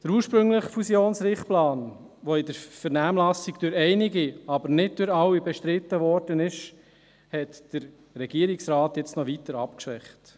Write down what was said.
Den ursprünglichen Fusionsrichtplan, der in der Vernehmlassung durch einige, aber nicht durch alle Teilnehmenden, bestritten wurde, hat der Regierungsrat jetzt noch weiter abgeschwächt.